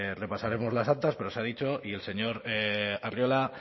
repasaremos las actas pero se ha dicho y el señor arriola